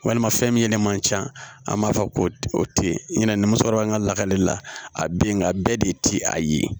Walima fɛn min yɛrɛ man ca an b'a fɔ ko o te yen ɲina ni muso kɔrɔba an ka lakali la a be yen nka a bɛɛ de ti a ye